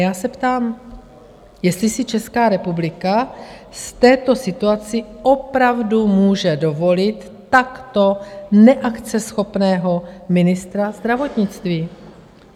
Já se ptám, jestli si Česká republika v této situaci opravdu může dovolit takto neakceschopného ministra zdravotnictví?